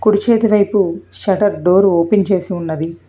కుడి చేతి వైపు సెట్టర్ డోర్ ఓపెన్ చేసి ఉన్నది.